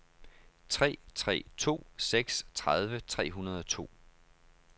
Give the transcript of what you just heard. tre tre to seks tredive tre hundrede og to